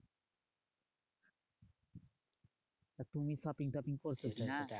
তুমি shopping topping করছো কি না?